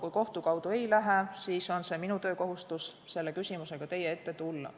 Kui kohtu kaudu ei lähe, siis on minu töökohustus selle küsimusega teie ette tulla.